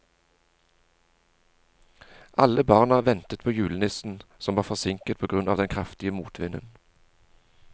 Alle barna ventet på julenissen, som var forsinket på grunn av den kraftige motvinden.